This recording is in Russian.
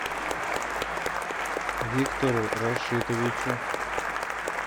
виктору рашитовичу